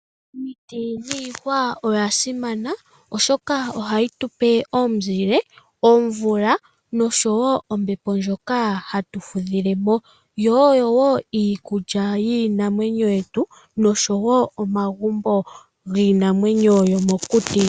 Omiti dhiihwa odha simana oshoka ohayi tu pe omuzile, omvula noshowo ombepo ndjoka hatu fudhile mo. Yo oyo wo iikulya yiinamwenyo yetu noshowo omagumbo giinamwenyo yomokuti.